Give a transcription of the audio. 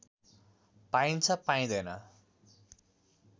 पाईन्छ पाइँदैन